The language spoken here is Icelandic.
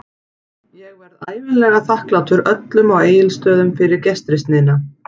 Ég verð ævinlega þakklátur öllum á Egilsstöðum fyrir gestrisnina.